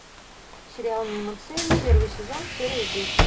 сериал мимо цели первый сезон серия десять